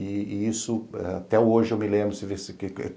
E isso eh até hoje eu me lembro